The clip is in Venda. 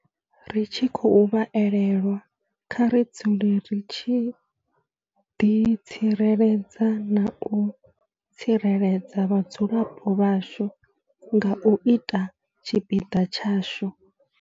Ri tshi khou vha elelwa, kha ri dzule ri tshi ḓit sireledza na u tsireledza vhadzulapo vhashu nga u ita tshipiḓa tshashu.